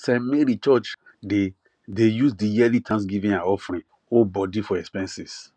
st mary church dey dey use the yearly thanksgiving and offering hold body for expenses